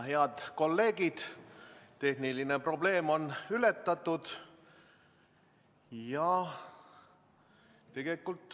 Head kolleegid, tehniline probleem on ületatud.